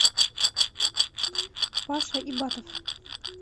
паша ибатов